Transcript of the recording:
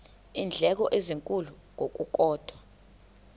iindleko ezinkulu ngokukodwa